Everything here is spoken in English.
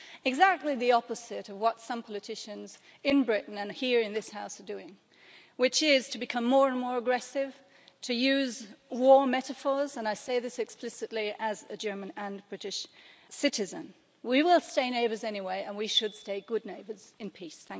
Exactly the opposite of what some politicians in Britain and here in this House are doing, which is to become more and more aggressive and to use war metaphors and I say this explicitly as a German and British citizen. We will stay neighbours anyway and we should stay good neighbours, in peace.